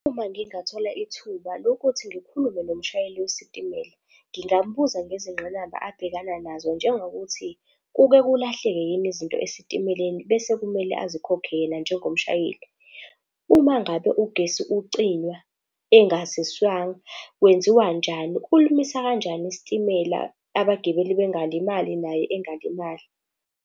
Uma ngingathola ithuba lokuthi ngikhulume nomshayeli wesitimela, ngingambuza ngezingqinamba abhekana nazo, njengokuthi kuke kulahleke yini izinto esitimeleni bese kumele azikhokhe yena njengomshayeli? Uma ngabe ugesi ucinywa engaziswanga kwenziwanjani? kanjani isitimela abagibeli bengalimali naye engalimali?